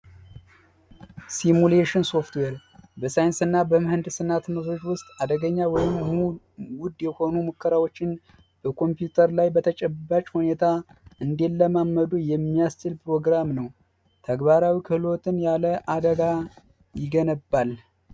ሱሚሌሽን ሶፍትዌር ሳይንስና ምህንድስና ትምህርት ውስጥ አደገኛ የሆኑ ሙከራዎችን በኮምፒውተር ላይ በተጨባጭ ሁኔታ እንዲለማመዱ የሚያስችል ፕሮግራም ነው ተግባራዊ ክህሎትን ያለ አደጋ ይገነባል።